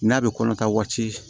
N'a bɛ kɔnɔta waati